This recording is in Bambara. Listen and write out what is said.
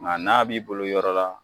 Nka n'a b'i bolo yɔrɔ la.